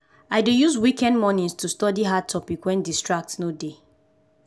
i dey use weekend mornings to study hard topic wen distraction no dey.